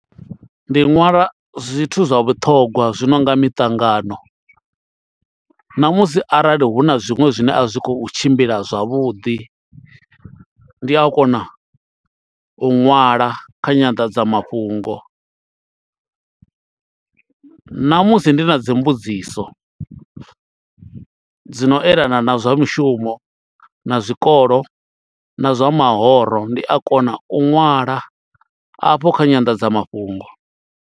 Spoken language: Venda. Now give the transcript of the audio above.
Ndi nwala zwithu zwa vhuṱhongwa zwi nonga miṱangano na musi arali hu na zwiṅwe zwine a zwi khou tshimbila zwavhuḓi ndi a kona u ṅwala kha nyanḓadzamafhungo namusi ndi na dzi mbudziso dzi no elana na zwa mushumo na zwikolo na zwa mahoro ndi a kona u ṅwala afho kha nyandadzamafhungo.